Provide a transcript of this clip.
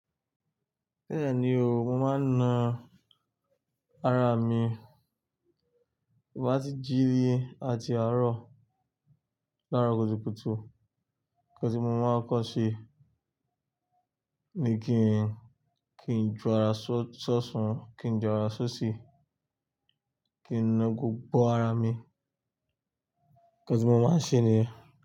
Bẹ́ẹ̀ni o, mo máa ń na ara mi bí mo bá ti jí ni àti àárọ̀ lárọ kùtùkùtù. Nǹkan tí mo máa ń kọ́ ṣe ni kí n, kí n jọ ara ṣó-sósan, kí n jọ ara sósi, kí n na gbogbo ara mi. Nǹkan tí mo máa ń ṣe niẹ.